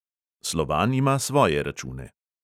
Slovan ima svoje račune.